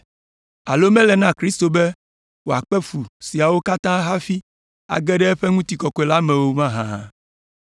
Alo mele na Kristo be wòakpe fu siawo katã hafi age ɖe eƒe ŋutikɔkɔe la me o mahã?”